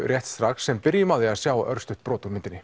rétt strax en byrjum á því að sjá örstutt brot úr myndinni